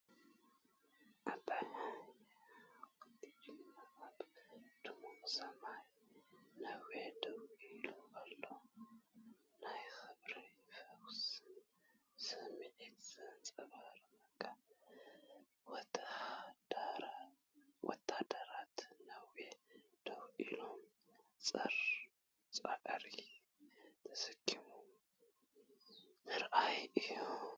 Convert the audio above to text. ዓብይ ሓወልቲ ጅግንነት ኣብ ድሙቕ ሰማይ ነዊሕ ደው ኢሉ ኣሎ። ናይ ክብርን ፈውስን ስምዒት ዘምጽኣልካ ወተሃደራት ነዋሕቲ ደው ኢሎም ጾር ጻዕሪ ተሰኪሞም ምርኣይ እዩ።